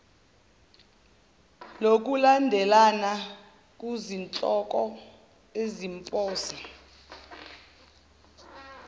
lokulandelana kuzihloko eziphonsa